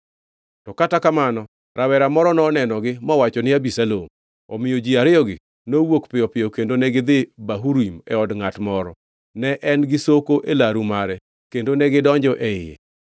To kata kamano rawera moro nonenogi mowacho ni Abisalom. Omiyo ji ariyogi nowuok piyo kendo negidhi Bahurim e od ngʼat moro. Ne en gi soko e laru mare, kendo negidonjo e iye.